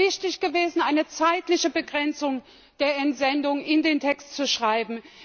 Es wäre wichtig gewesen, eine zeitliche Begrenzung der Entsendung in den Text zu schreiben.